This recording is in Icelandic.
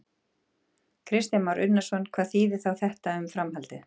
Kristján Már Unnarsson: Hvað þýðir þá þetta um framhaldið?